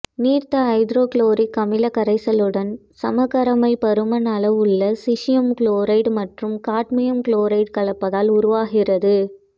நீர்த்த ஐதரோகுளோரிக் அமிலக் கரைசலுடன் சமகரைமைப் பருமன் அளவுள்ள சீசியம் குளோரைடு மற்றும் காட்மியம் குளோரைடு கலப்பதால் உருவாகிறது